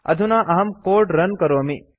अधुना अहं code run करोमि